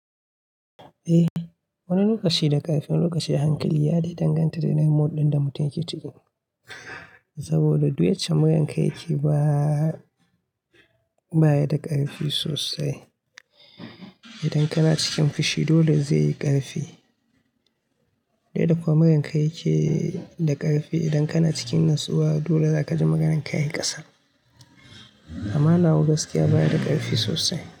Eh, wani lokaci da ƙarfin lokaci hankali ya dai danganta da irin mode din da mutum yake ciki. Saboda duk yace muryanka yake baya da ƙarfi sosai. Idan kana cikin fushi dole zai yi ƙarfi. Daya duk magan ka yake da ƙarfi idan kana cikin natsuwa dole za kaji magan ka ya yi ƙasa amma na wu gaskiya baya da ƙarfi sosai.